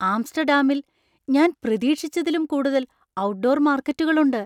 ആംസ്റ്റർഡാമിൽ ഞാൻ പ്രതീക്ഷിച്ചതിലും കൂടുതൽ ഔട്ട്ഡോർ മാർക്കറ്റുകൾ ഉണ്ട്.